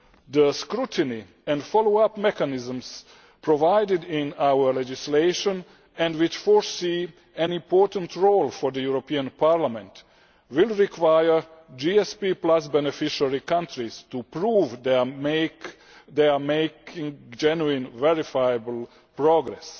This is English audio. The scrutiny and follow up mechanisms provided in our legislation and which foresee an important role for the European Parliament will require GSP beneficiary countries to prove that they are making genuine, verifiable progress.